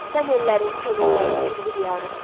Sən ellərin, könüllərin Ülvi diyarısan.